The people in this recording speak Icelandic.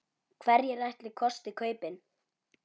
Hverjir ætli kosti kaupin?